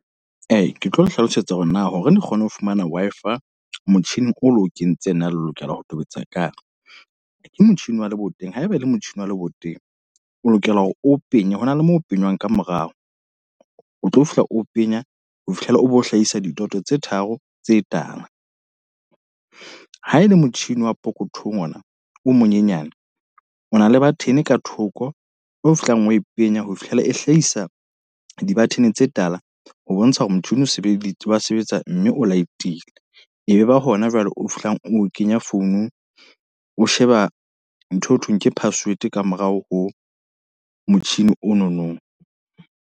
Ee, ke tlo le hlalosetsa hore na hore le kgone ho fumana Wi-Fi. Motjhini o lo kentseng na le lokela ho tobetsa kae. Ke motjhini wa leboteng? Haeba e le motjhini wa leboteng, o lokela hore o penye hona le mo o penyang ka morao. O tlo fihla o penya ho fihlela o bo hlahisa didoto tse tharo tse tala. Ha e le motjhini wa pokothong ona, o monyenyane. O na le button ka thoko eo fihlang o e penya ho fihlela e hlahisa di-button tse tala. Ho bontsha hore motho o sebedise wa sebetsa mme o light-ile. E be ba hona jwale o fihlang o kenya founung, o sheba ntho eo thweng ke password ka morao ho motjhini o nonong.